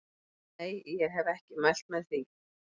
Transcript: Nei ég hef ekki mælt með því.